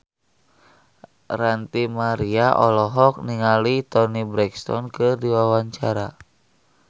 Ranty Maria olohok ningali Toni Brexton keur diwawancara